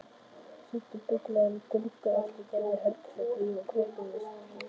Steindir bogagluggar eftir Gerði Helgadóttur prýða Kópavogskirkju.